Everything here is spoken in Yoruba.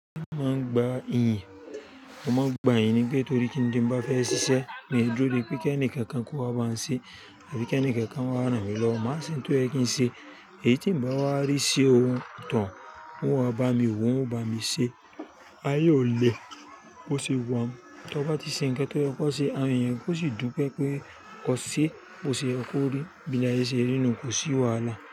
Mo máa ń gba iyì, mo máa ń gba iyì nígbàkigtóri kíndín bá fẹ́ ṣiṣẹ́, mi o dúró dé pé kí ẹnìkankan kó wá bá mi ṣe tàbí kí ẹnìkankan wá ràn mí lọ. Máa ṣin tó yẹ kí n ṣe èyí tí mi bá wá rí ṣe ohun tán, wọn wá bá mi wò, wọn bá mi ṣé, ayé ò le kó ṣe wọ́n. Tí ọ bá ti ṣe ǹkẹ́ tó yẹ kó ṣe, ààrùn yẹn kó sì dún pé pé kọ ṣé kó ṣe ẹ kó rí, bí làye ṣe rí nu kò sí wàhálà.